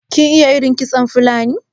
kin iya irin kitson Fulani?